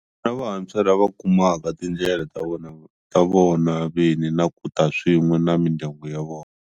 Vantshwa lava kumaka tindlela ta vona vini na ku ta swin'we na mindyangu ya vona.